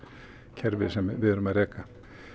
kerfi sem við erum að reka